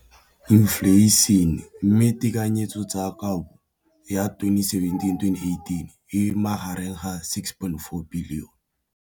Infleišene, mme tekanyetsokabo ya 2017, 18, e magareng ga R6.4 bilione.